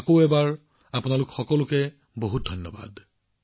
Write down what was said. আকৌ এবাৰ আপোনালোক সকলোকে বহুত ধন্যবাদ